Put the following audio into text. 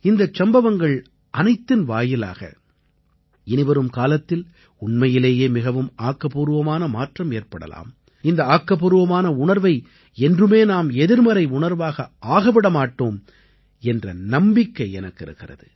இந்தச் சம்பவங்கள் அனைத்தின் வாயிலாக இனிவரும் காலத்தில் உண்மையிலேயே மிகவும் ஆக்கப்பூர்வமான மாற்றம் ஏற்படலாம் இந்த ஆக்கப்பூர்வமான உணர்வை என்றுமே நாம் எதிர்மறை உணர்வாக ஆகவிட மாட்டோம் என்ற நம்பிக்கை எனக்கு இருக்கிறது